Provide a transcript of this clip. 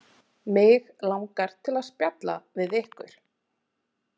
Mig langar til að spjalla við ykkur.